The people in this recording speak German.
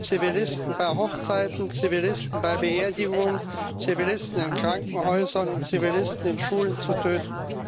Zivilisten bei Hochzeiten, Zivilisten bei Beerdigungen, Zivilisten in Krankenhäusern und Zivilisten in Schulen zu töten.